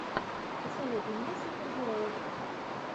посоветуй мне супергероев